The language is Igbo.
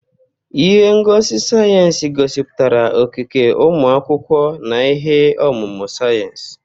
Ihe ngosi sayensị gosipụtara okike ụmụ akwụkwọ na ihe ọmụma sayensị.